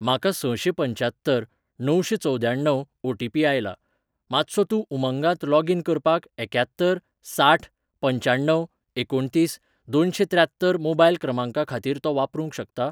म्हाका सशेंपंच्यात्तर णवशेंचवद्याण्णव ओटीपी आयला, मातसो तूं उमंगात लॉगीन करपाक एक्यात्तर साठ पंच्याण्णव एकुणतीस दोनशेंत्र्यात्तर मोबायल क्रमांका खातीर तो वापरूंक शकता?